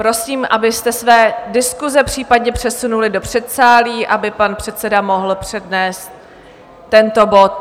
Prosím, abyste své diskuse případně přesunuli do předsálí, aby pan předseda mohl přednést tento bod.